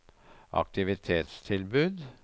aktivitetstilbud